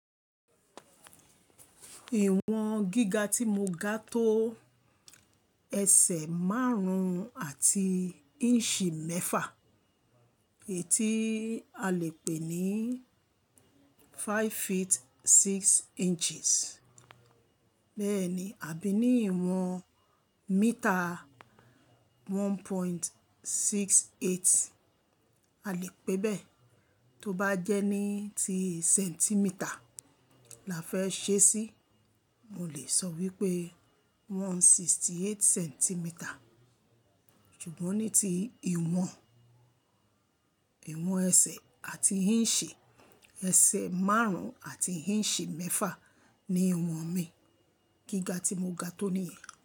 Ìwọ̀n gíga tí mo ga tó ẹsẹ̀ márùn-ún àti ìǹṣì mẹ́fà, èyí tí a lè pè ní five feet six inches. Bẹ́ẹ̀ ni, àbí ní ìwọ̀n míítà one point six eight, a lè pè bẹ́ẹ̀. Tóbá jẹ́ ní ti sẹ́ńtímítà la fẹ́ ṣe sí, mo lè sọ wípé one sixty eight centimeters. Ṣùgbọ́n ní ti ìwọ̀n, ìwọ̀n ẹsẹ̀ àti ìǹṣì, ẹsẹ̀ márùn-ún àti ìǹṣì mẹ́fà ni ìwọ̀n mi. Gíga tí mo ga tó nìyẹn.